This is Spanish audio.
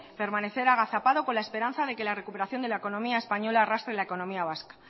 permanecer agazapado con la esperanza de que la recuperación de la economía española arrastre la economía vasca